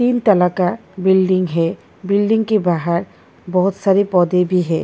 तीन तला का बिल्डिंग है बिल्डिंग के बाहर बहुत सारे पौधे भी हैं।